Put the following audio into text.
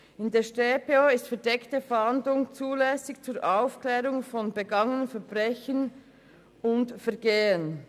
In der Schweizerischen Strafprozessordnung (Strafprozessordnung, StPO) ist verdeckte Fahndung zulässig zur Aufklärung von begangenen Verbrechen und Vergehen.